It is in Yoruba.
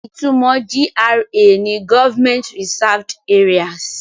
Ìtumọ̀ GRA ni Government Reserved Areas.